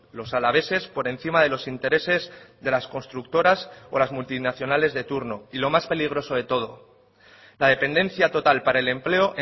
los alaveses por encima de los intereses de las constructoras o las multinacionales de turno y lo más peligroso de todo la dependencia total para el empleo